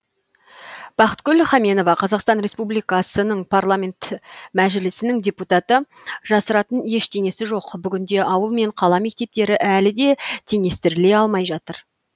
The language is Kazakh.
бақытгүл хаменова қазақстан республикасының мәжілісінің депутаты жасыратын ештеңесі жоқ бүгінде ауыл мен қала мектептері әлі де теңестіріле алмай жатыр